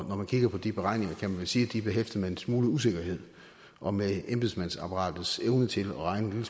når man kigger på de beregninger kan man vel sige at de er behæftet med en smule usikkerhed og med embedsmandsapparatets evne til at regne en